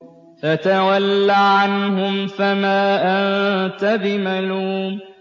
فَتَوَلَّ عَنْهُمْ فَمَا أَنتَ بِمَلُومٍ